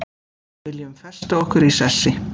Viljum festa okkur í sessi